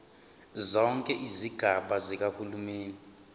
zonke izigaba zikahulumeni